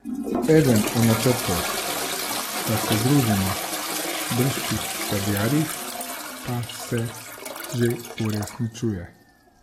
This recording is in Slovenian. Eden od načrtov, da se združimo briški sadjarji, pa se že uresničuje.